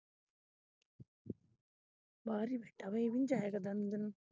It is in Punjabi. ਬਾਹਰ ਹੀ ਬੈਠਾ ਇਹ ਵੀ ਨੀ ਜਾਏ ਕਰਦਾ ਅੰਦਰ ਨੂੰ।